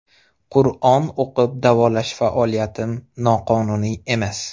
Qur’on o‘qib davolash faoliyatim noqonuniy emas.